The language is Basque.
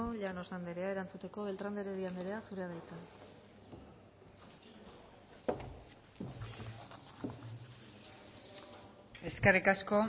llanos anderea erantzuteko beltrán de heredia anderea zurea da hitza eskerrik asko